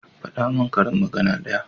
Fada min karin magana ɗaya